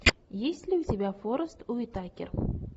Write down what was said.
есть ли у тебя форест уитакер